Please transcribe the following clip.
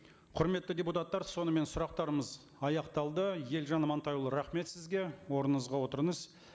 құрметті депутаттар сонымен сұрақтарымыз аяқталды елжан амантайұлы рахмет сізге орныңызға отырыңыз